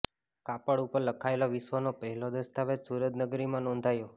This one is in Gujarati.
કાપડ ઉપર લખાયેલો વિશ્વનો પહેલો દસ્તાવેજ સુરત નગરીમાં નોંધાયો